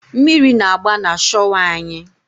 Mmiri na-agba na shọwa anyị.